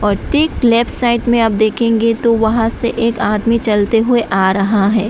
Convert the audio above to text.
और ठीक left side में आप देखेंगे तो वहां से एक आदमी चलते हुए आ रहा है।